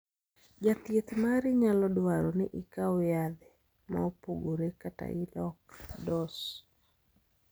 Ja thieth mari nyalo dwaro ni ikaw yadhe ma opogore kata ilok dos